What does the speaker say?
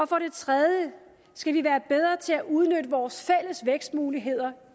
for det tredje skal vi være bedre til at udnytte vores fælles vækstmuligheder